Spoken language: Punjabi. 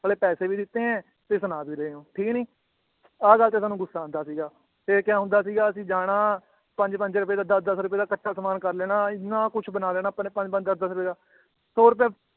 ਅਗਲੇ ਪੈਸੇ ਵੀ ਦਿੱਤੇ ਏ ਤੇ ਸੁਨਾ ਵੀ ਰਹੇ ਹੋ ਠੀਕ ਨੀ ਆਹ ਗੱਲ ਤੇ ਸਾਨੂੰ ਗੁੱਸਾ ਆਂਦਾ ਸੀਗਾ ਤੇ ਕਯਾ ਹੁੰਦਾ ਸੀਗਾ ਅਸੀ ਜਾਣਾ ਪੰਜ ਪੰਜ ਰੁਪਏ ਦਾ ਦੱਸ ਦੱਸ ਰੁਪਏ ਦਾ ਕਠ੍ਹਾ ਸਮਾਨ ਕਰ ਲੈਣਾ ਇਹਨਾਂ ਕੁਛ ਬਣਾ ਲੈਣਾ ਆਪਾਂ ਨੇ ਪੰਜ ਪੰਜ ਦੱਸ ਦੱਸ ਰੁਪਏ ਦਾ ਹੋਰ ਤਾਂ